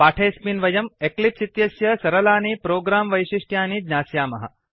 पाठेऽस्मिन् वयम् एक्लिप्स् इत्यस्य सरलानि प्रोग्राम वैशिष्ट्यानि ज्ञास्यामः